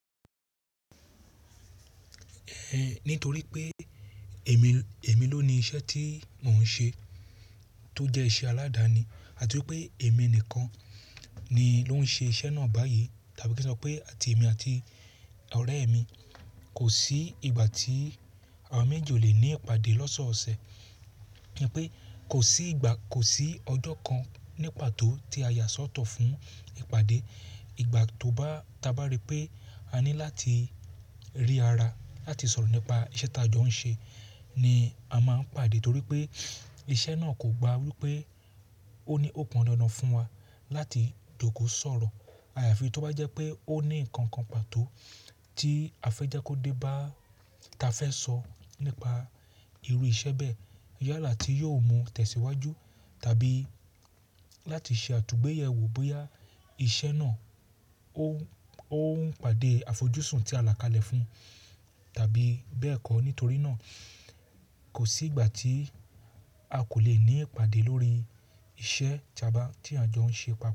Ẹ̀ nítorí pé èmi, èmi lóni iṣẹ́ tí mò ń ṣe tó jẹ́ iṣẹ́ aládani àti wípé èmi nìkan ni ló ń ṣe iṣẹ́ náà báyìí. Tàbí ka sọ pé àti èmi àti ọ̀rẹ́ mi. Kò sí ìgbà tí àwa méjì ò le ní ìpàdé lọ́sọ̀ọ̀sẹ̀. Ni pé kò sí ìgbà, kò sí ọjọ́ kan nípató tí a yà sọ́tọ̀ fún ìpàdé. Ìgbà tó bá tabá rí pé a ní láti rí ara láti sọ̀rọ̀ nípa iṣẹ́ tá a jọ ń ṣe ni a máa ń pàdé torí pé iṣẹ́ náà kògba wípé ó ní ó pọn dandan fún wa láti jòkò sọ̀rọ̀. Ayàfi tó bá jẹ́ pé ó ní nǹkan pàtó tí a fẹ́ já kó dé bá ta fẹ́ sọ nípa irú iṣẹ́ bẹ́ẹ̀, yálà tí yóò mú tẹ̀síwájú tàbí láti ṣe àtúgbẹ́yẹ̀wò bóyá iṣẹ́ náà óń pàdé àfojúsùn tí alà kalẹ̀ fún tàbí bẹ́ẹ̀ kọ́. Nítorí náà kò sí ìgbà tí a kò lè ní ìpàdé lórí iṣẹ́ tí à jọ ń ṣe papọ̀